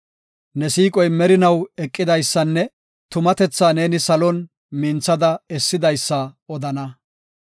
Ne siiqoy merinaw eqidaysanne tumatethaa neeni salon minthada essidaysa odana.